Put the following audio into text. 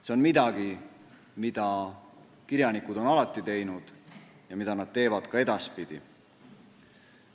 See on midagi, mida kirjanikud on alati teinud ja mida nad teevad ka edaspidi.